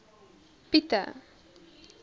pieti